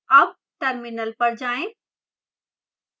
अब terminal पर जाएं